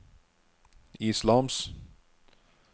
islams